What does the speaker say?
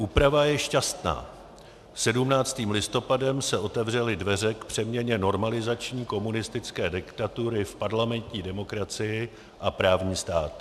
Úprava je šťastná: 17. listopadem se otevřely dveře k přeměně normalizační komunistické diktatury v parlamentní demokracii a právní stát.